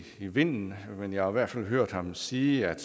vinden men jeg har i hvert fald hørt dem sige at